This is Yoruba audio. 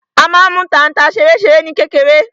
A má n mú tanta ṣeréṣeré ní kékeré.